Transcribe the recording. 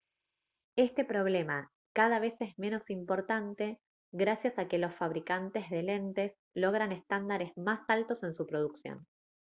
este problema cada vez es menos importante gracias a que los fabricantes de lentes logran estándares más altos en su producción